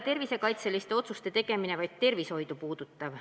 Tervisekaitseliste otsuste tegemine ei puuduta vaid tervishoidu.